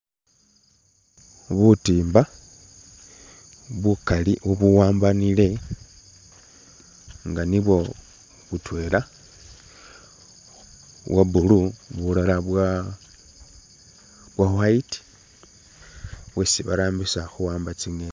Butimba bukaali ubuwambanile nga nibwo butwela bwa blue bulala bwa bwo white bwesi barambisa khuwamba tsingeni